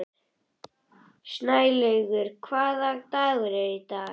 Snælaugur, hvaða dagur er í dag?